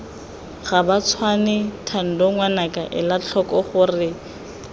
gabatshwane thando ngwanaka elatlhoko gore